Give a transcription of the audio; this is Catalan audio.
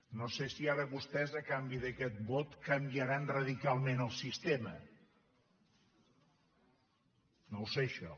no sé si ara vostès a canvi d’aquest vot canviaran radicalment el sistema no ho sé això